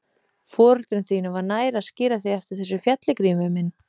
Foreldrum þínum var nær að skíra þig eftir þessu fjalli, Grímur minn.